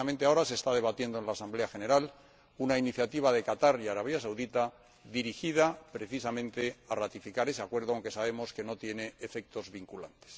Precisamente ahora se está debatiendo en la Asamblea General una iniciativa de Qatar y Arabia Saudí dirigida, precisamente, a ratificar ese acuerdo, aunque sabemos que no tiene efectos vinculantes.